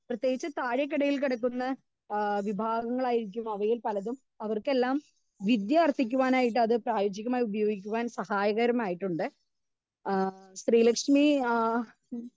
speaker 2 പ്രേത്യകിച് താഴെക്കിടയിൽ കിടക്കുന്ന ആ വിഭവങ്ങളായിരിക്കും അവയിൽ പലതും അവർക്കെല്ലാം വിദ്യാ അർത്ഥിക്കുവാനായിട്ട് അത് പ്രയോജികമായി ഉപയോഗിക്കാൻ സഹകരമായിട്ടുണ്ട് ഏഹ് ശ്രീലക്ഷ്മി ആ